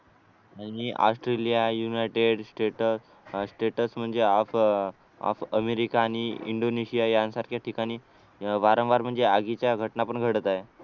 आणि Australia United States status म्हणजे of of America आणि इंडोनेशिया यांसारख्या ठिकाणी वारंवार म्हणजे आगीच्या घटना पण घडत आहेत